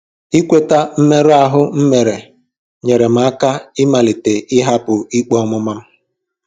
Ịkweta mmerụ ahụ m mere nyeere m aka ịmalite ịhapụ ikpe ọmụma m.